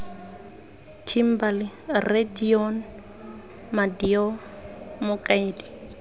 kimberley rre deon madyo mokaedi